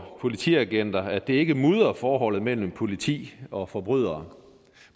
politiagenter at det ikke mudrer forholdet mellem politi og forbrydere